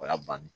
O y'a bannen